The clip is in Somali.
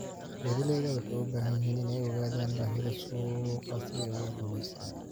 Beeralayda waxay u baahan yihiin inay ogaadaan baahida suuqa si ay u guulaystaan.